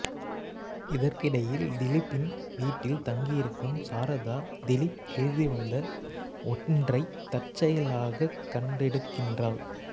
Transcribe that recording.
இதற்கிடையில் திலீப்பின் வீட்டில் தங்கியிருக்கும் சாரதா திலீப் எழுதிவந்த ஒன்றைத் தற்செயலாகக் கண்டெடுக்கின்றாள்